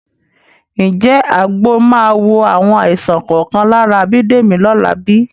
Ǹjẹ́ àgbo máa wo àwọn àìsàn kọ̀ọ̀kan lára Bídèmí lọ́la bí?